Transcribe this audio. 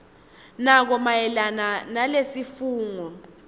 nako mayelana nalesifungo